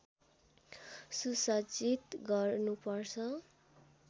सुसज्जित गर्नु पर्छ